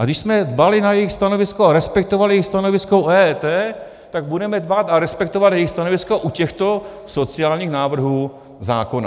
A když jsme dbali na jejich stanovisko a respektovali jejich stanovisko u EET, tak budeme dbát a respektovat jejich stanovisko u těchto sociálních návrhů zákona.